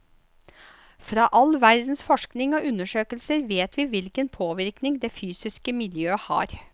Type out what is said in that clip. Fra all verdens forskning og undersøkelser vet vi hvilken påvirkning det fysiske miljøet har.